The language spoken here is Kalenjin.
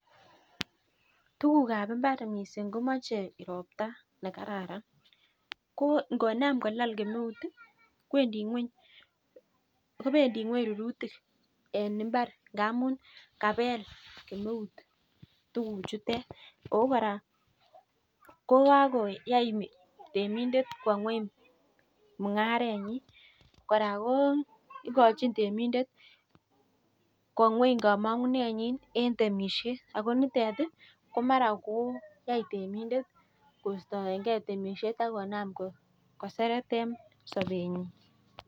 Tuguk ab imoar missing komoche ropta nekararan ko ikonam kolal kemeut ii kobendii ngweny rurutik en impar indamun kabel kemeut Tuguk chutet kou kora ko kakoyai temindet kwoo ngweny mugarenyen kora kokochin temindet kowoo ngweny kamangunenyin en temushet ako niton ko mara kotai temindet kostoekei temishet ak konam koseret en sobenyun.